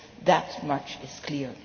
That much is clear.